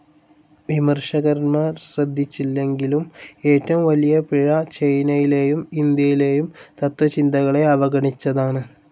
വിമർശകന്മാർ ശ്രദ്ധിച്ചില്ലെങ്കിലും, ഏറ്റവും വലിയ പിഴ ചൈനയിലേയും ഇൻഡ്യയിലേയും തത്ത്വചിന്തകളെ അവഗണിച്ചതാണ്.